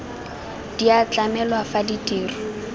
di a tlamelwa fa ditiro